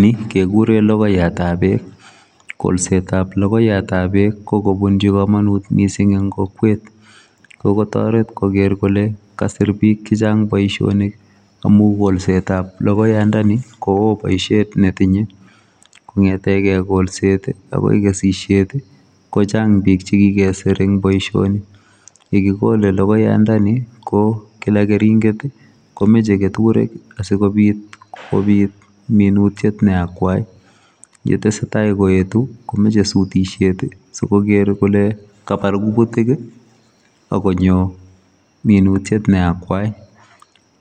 Ni kegureen logoiyaat ab beek kolset ab logoiyaat ab beek ko kobunjii kamanuut missing eng kokwet ko taretii koger kole kasiir biik che chaang boisionik amuun kolset ab logoiyaat ndeni ko woo boisiet ne tinyei kongethegei kolelset agoi kesisiet komii biik che kikesiir eng boisionik, ye kigole logoiyaat ndeni ko kila keringeet ii komuchei ketureek ii asikobiit minutiet be akwai ye tesetai koetuu komachei sutisheet sikoger kole kabaar kutiik ii agonyo minutiet ne akwai